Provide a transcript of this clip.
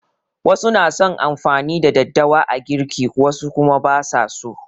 Wasu na son amfani da daddawa a girki wasu kuma ba su so.